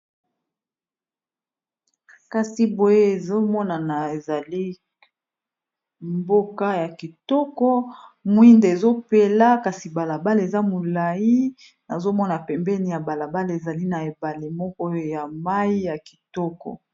Kasi boye ezomonana ézali mboka yakitoko Mwida epeli Eza balabala ya kitoko